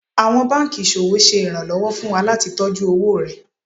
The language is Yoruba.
Àwọn banki iṣowo ṣe ìrànlọ́wọ́ fún wa láti tọjú owó rẹ.